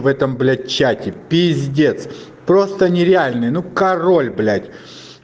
в этом блядь чате пиздец просто нереальный ну король блядь